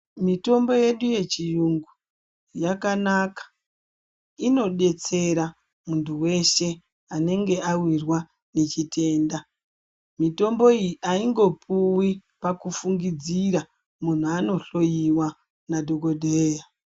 Mitombo yedu yechiyungu yakanaka inobetsera muntu veshe anonga avira ngechitenda. Mitombo iyi haingopuwi pakufungidzira muntu anohloiwa nadhogodheya.